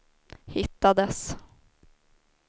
hittades